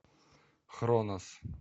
хронос